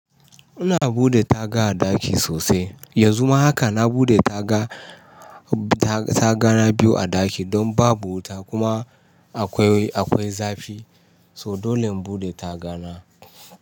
Ina buɗe taga a ɗaki sosai, yanzu ma haka na buɗe taga, ta-tagana biyu a ɗaki don babu wuta kuma akwai, akwai zafi. So dole in buɗe tagana.